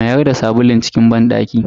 Mayar da sabulun cikin banɗaki.